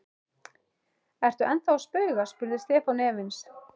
Ertu ennþá að spauga? spurði Stefán efins.